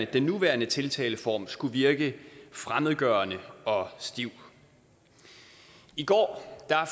den nuværende tiltaleform skulle virke fremmedgørende og stiv i går